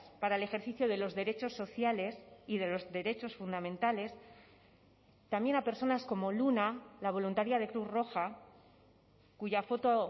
para el ejercicio de los derechos sociales y de los derechos fundamentales también a personas como luna la voluntaria de cruz roja cuya foto